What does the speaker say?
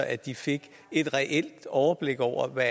at de fik et reelt overblik over hvad